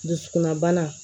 Dusukunna bana